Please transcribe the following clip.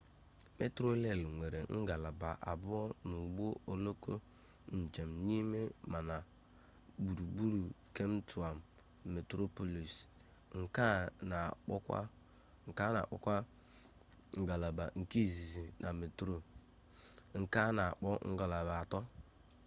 metroreel nwere ngalaba abụọ n'ụgbọ oloko njem n'ime ma na gburugburu kep taụn: metroplọs nke a na akpọkwa ngalaba nke izizi na metro nke a na akpọ ngalaba nke atọ